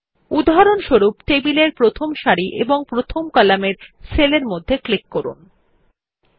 উদাহরণস্বরূপ টেবিলেরপ্রথম সারির এবং প্রথম কলামের সেলের মধ্যে ক্লিক করুন